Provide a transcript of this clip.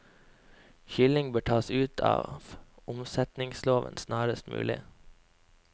Kylling bør tas ut av omsetningsloven snarest mulig.